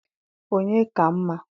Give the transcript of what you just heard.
onye ka mma?